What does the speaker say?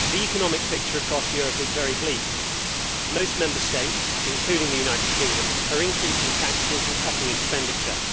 Mr President, the economic picture across Europe is very bleak. Most Member States, including the United Kingdom, are increasing taxes and cutting expenditure.